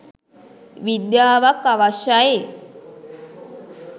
විද්‍යාවක් අවශ්‍යයි.